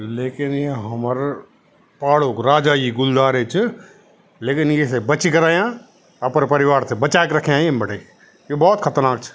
लेकिन ये हमर पहाड़ो क राजा ये गुलदार ही च लेकिन येथे बचिक रयां अपर परिवार थे बच्या क रख्याँ एम बटे ये भोत खतरनाक च।